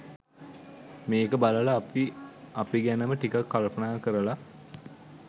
මේක බලලා අපි අපි ගැනම ටිකක් කල්පනා කරල